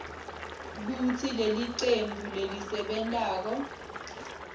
kutsi lelicembu lelisebentako